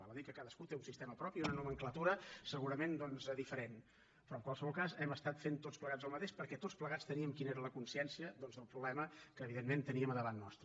val a dir que cadascú té un sistema propi una nomenclatura segurament diferent però en qualsevol cas hem estat fent tots plegats el mateix perquè tots plegats teníem quina era la consciència del problema que evidentment teníem al davant nostre